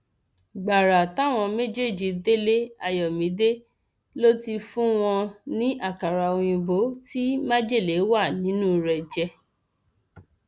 gbàrà táwọn méjèèjì délé ayọmídé ló ti fún wọn ní àkàrà òyìnbó tí májèlé wà nínú rẹ jẹ